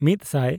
ᱥᱟᱭ/ ᱢᱤᱫᱼᱥᱟᱭ